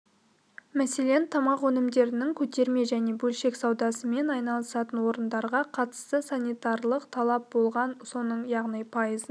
мәселен тамақ өнімдерінің көтерме және бөлшек саудасымен айналысатын орындарға қатысты санитарлық талап болған соның яғни пайызын